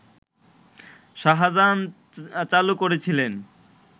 শাহজাহান চালু করেছিলেন